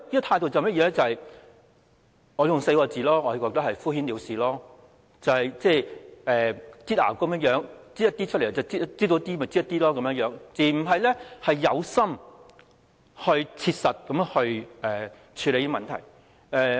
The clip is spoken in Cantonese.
我可以用4個字來形容，便是"敷衍了事"，仿如擠牙膏般，斷斷續續地擠出一些，而不是有心、切實地處理問題。